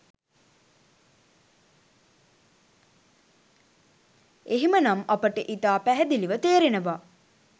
එහෙම නම් අපට ඉතා පැහැදිලිව තේරෙනවා